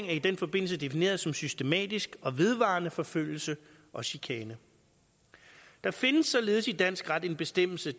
i den forbindelse defineret som systematisk og vedvarende forfølgelse og chikane der findes således i dansk ret en bestemmelse